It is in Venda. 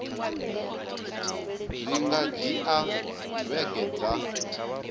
zwi nga dzhia vhege dza